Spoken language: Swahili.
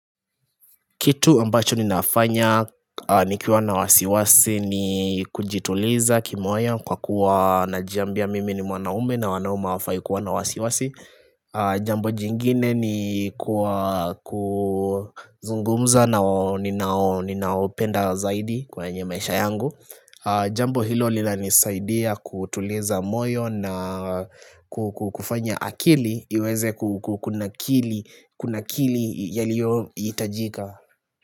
Kitu ambacho ninafanya nikiwa na wasiwasi ni kujituliza kimoyo kwa kuwa najiambia mimi ni mwanaume na wanaume wafai kuwa na wasiwasi Jambo jingine ni kwa kuzungumza na ninao ninaopenda zaidi kwa nye maisha yangu Jambo hilo linanisaidia kutuliza moyo na kufanya akili iweze kukuna kili Kuna kili yaliyo itajika.